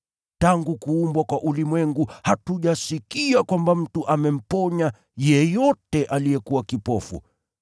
Tangu zamani hatujasikia kwamba mtu amemponya yeyote aliyezaliwa kipofu.